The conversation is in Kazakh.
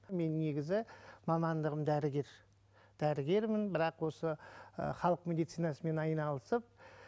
мен негізі мамандығым дәрігер дәрігермін бірақ осы ы халық медицинасымен айналысып